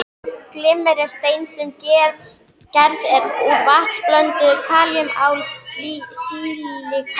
Glimmer er steind sem gerð er úr vatnsblönduðu kalíum-ál-silíkati